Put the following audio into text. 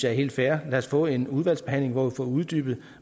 er helt fair lad os få en udvalgsbehandling hvor vi får uddybet